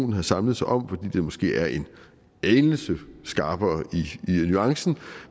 har samlet sig om for det er måske er en anelse skarpere i nuancen